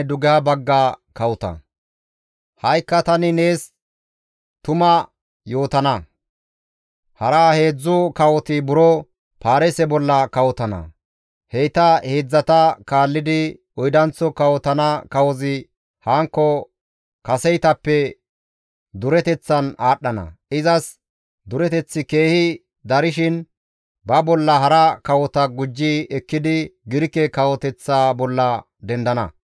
«Ha7ikka tani nees tuma yootana; hara heedzdzu kawoti buro Paarise bolla kawotana; heyta heedzdzata kaallidi oydanththo kawotana kawozi hankko kaseytappe dureteththan aadhdhana; izas dureteththi keehi darshin izi ba bolla hara kawota gujji ekkidi Girike kawoteththa bolla dendana.